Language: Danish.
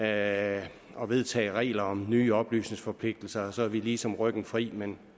at vedtage regler om nye oplysningsforpligtelser og så har vi ligesom ryggen fri men